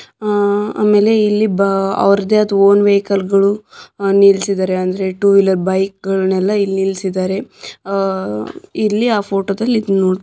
ಅಹ್ ಆಮೇಲೆ ಅಲ್ಲಿ ಬ ಅವರದೇ ಆದ ಓನ್ ವೆಹಿಕಲ್ ಗಳು ನಿಲ್ಲಿಸಿದರೆ ಅಂದ್ರೆ ಟೂ ವೀಲರ್ ಬೈಕ್ ಗಳನ್ನೆಲ್ಲ ಇಲ್ಲಿ ನಿಲ್ಲಿಸಿದರೆ ಅಹ್ ಇಲ್ಲಿ ಆ ಫೋಟೋದಲ್ಲಿ ನೋಡಿ.